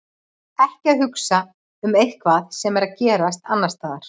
Ekki að hugsa um eitthvað sem er að gerast annars staðar.